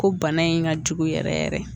Ko bana in ka jugu yɛrɛ yɛrɛ